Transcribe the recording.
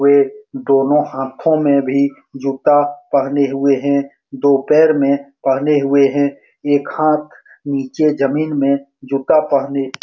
वे दोनों हाथों में भी जूता पहने हुए हैं दो पैर में पहने हुए हैं एक हाथ नीचे जमीन में जूता पहने --